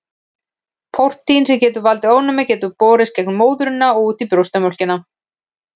Prótín sem getur valdið ofnæmi getur borist í gegnum móðurina og út í brjóstamjólkina.